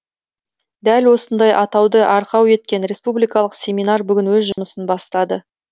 дәл осындай атауды арқау еткен республикалық семинар бүгін өз жұмысын бастады